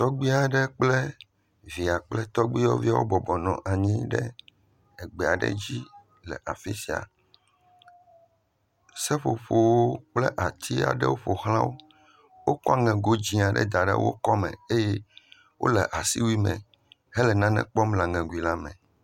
tɔgbi aɖe kple via kple tɔbiyɔviwo nɔnyi ɖe egba ɖe dzi le afisia seƒoƒo kple ati aɖewo ƒoxlã wó wokɔ ŋego dzĩ aɖe daɖe wókɔ me eye wóle asiwui me hele nane kpɔm le aŋego la me